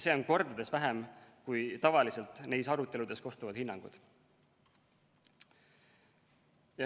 See on kordades vähem kui tavaliselt neis aruteludes kostvad hinnangud.